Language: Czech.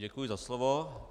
Děkuji za slovo.